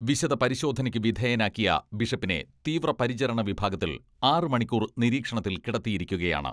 വിശദ പരിശോധനയ്ക്ക് വിധേയനാക്കിയ ബിഷപ്പിനെ തീവ്ര പരിചരണ വിഭാഗത്തിൽ ആറ് മണിക്കൂർ നിരീക്ഷണത്തിൽ കിടത്തിയിരിക്കുകയാണ്.